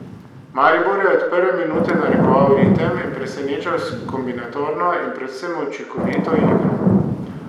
Maribor je od prve minute narekoval ritem in presenečal s kombinatorno in predvsem učinkovito igro.